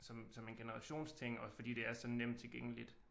Som som en generationsting og fordi det er så nemt tilgængeligt